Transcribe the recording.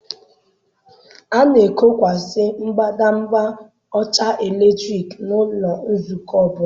A na-ekokwasị mbadamba ọcha eletrik n'ụlọ nzukọ ọ bụla.